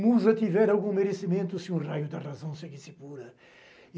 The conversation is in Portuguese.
Musa, tiver algum merecimento se um raio da razão seguisse pura. E